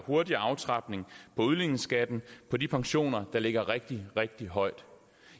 hurtigere aftrapning på udligningsskatten på de pensioner der ligger rigtig rigtig højt